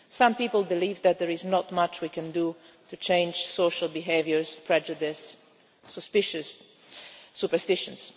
Some people believe that there is not much we can do to change social behaviour, prejudice, superstitions.